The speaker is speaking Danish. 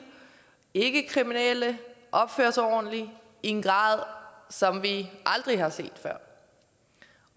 ikkekriminelle og opfører sig ordentligt i en grad som vi aldrig har set før